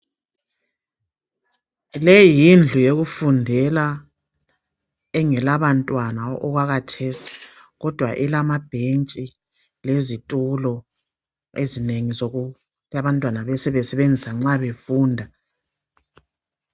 Leyi yindlu yokufundela engelabantwana okwakhathesi kodwa ilamabhentshi lezitulo ezinengi zokuthi abantwana babebesebenzisa nxa befunda